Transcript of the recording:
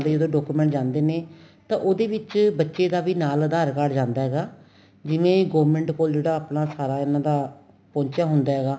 ਦੇ ਜਦੋਂ document ਜਾਂਦੇ ਨੇ ਤਾਂ ਉਹਦੇ ਵਿੱਚ ਬੱਚੇ ਦਾ ਵੀ ਨਾਲ ਅਧਾਰ card ਜਾਂਦਾ ਹੈਗਾ ਜਿਵੇਂ government ਕੋਲ ਤਾਂ ਆਪਣਾ ਸਾਰਾ ਇਹਨਾ ਦਾ ਪੋਹੁੰਚਿਆ ਹੁੰਦਾ ਹੈਗਾ